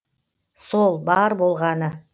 сол бар болғаны